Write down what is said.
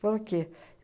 Por quê?